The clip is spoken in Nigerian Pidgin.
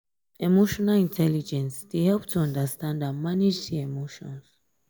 emotional intelligence dey help to understand and manage di emotions.